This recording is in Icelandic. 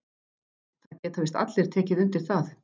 Það geta víst allir tekið undir það.